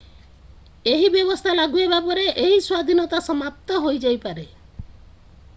ଏହି ବ୍ୟବସ୍ଥା ଲାଗୁ ହେବା ପରେ ଏହି ସ୍ଵାଧୀନତା ସମାପ୍ତ ହୋଇଯାଇପାରେ